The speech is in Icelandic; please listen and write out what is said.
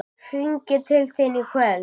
Hringi til þín í kvöld!